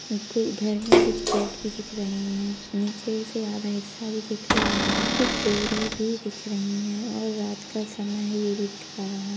घर में कुछ गेट भी दिख रहे हैं नीचे से आधा हिस्सा भी दिख रहा है कुछ डोरी भी दिख रही हैं और रात का समय ये भी दिख रहा है।